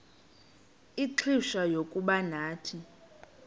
ixfsha lokuba nathi